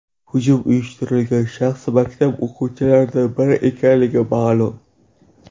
Hujum uyushtirgan shaxs maktab o‘quvchilaridan biri ekanligi ma’lum.